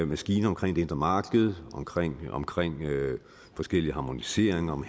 maskine omkring det indre marked omkring omkring forskellige harmoniseringer om